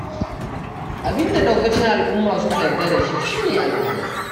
Abinda ɗaukacin al'umma suka yadda da shi shi ne al'ada.